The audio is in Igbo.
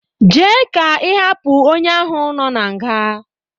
Jee ka ịhapụ onye ahụ nọ na nga!